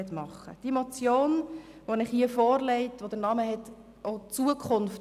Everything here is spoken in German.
Diese Motion betrifft auch die Zukunft.